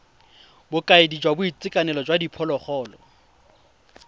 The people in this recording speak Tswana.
bokaedi jwa boitekanelo jwa diphologolo